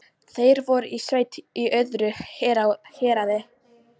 Þeir voru í sveit í öðru héraði.